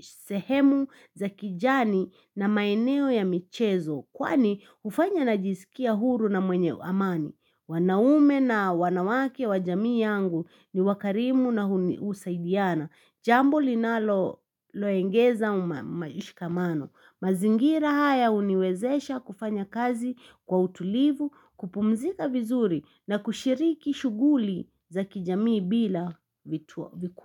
sehemu za kijani na maeneo ya michezo. Kwani hufanya najizikia huru na mwenye amani, wanaume na wanawake wa jamii yangu ni wakarimu na husaidiana, jambo linaloloengeza umayishikamano. Mazingira haya uniwezesha kufanya kazi kwa utulivu, kupumzika vizuri na kushiriki shuguli za kijamii bila vikuwa.